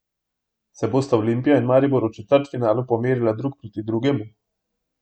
Se bosta Olimpija in Maribor v četrtfinalu pomerila drug proti drugemu?